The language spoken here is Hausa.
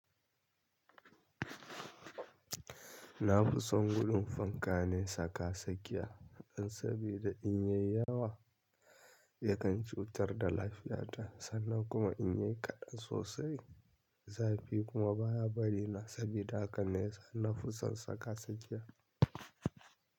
Nafison gurin fanka ne saka sakiya. Dan sabida in ya yi yawa yakan cutar da lafiyata sannan kuma in ya yi kaɗan sosai zafi kuma baya bari na. Sabida haka ne sana'ufan saka sakiya.